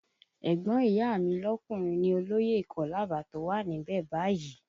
Ẹ̀gbọ́n ìyá a mi lọkùnrin ni olóyè ìkọ́làbà tó wà níbẹ̀ báyìí